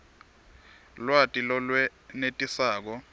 lwati lolwenetisako